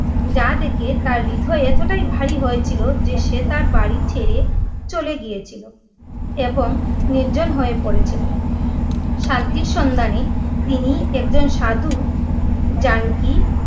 যা দেখে তার হৃদয় এতটাই ভারী হয়ে ছিলো, যে সে তার বাড়ি ছেড়ে চলে গিয়ে ছিলো এবং নির্জন হয়ে পড়ে ছিলো। শান্তির সন্ধানে তিনি এক জন সাধু জানকী!